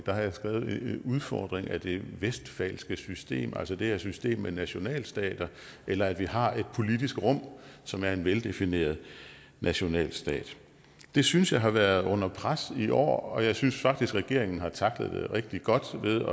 en udfordring af det westfalske system det er altså det her system med nationalstater eller at vi har et politisk rum som er en veldefineret nationalstat det synes jeg har været under pres i år og jeg synes faktisk regeringen har tacklet det rigtig godt ved